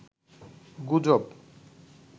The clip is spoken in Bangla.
গুজব